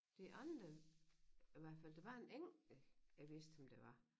De andre i hvert fald der var en enkelt jeg vidste hvem det var